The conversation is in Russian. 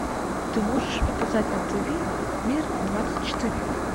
ты можешь показать на тв мир двадцать четыре